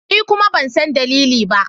Ni kuma ban san dalili ba.